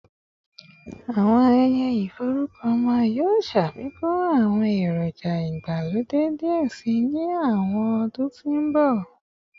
Awọn ayẹyẹ iforukọ ọmọ yoo ṣafikun awọn eroja igbalode diẹ sii ni awọn ọdun to nbọ